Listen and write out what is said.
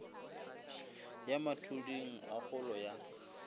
ya mathuding a holo ya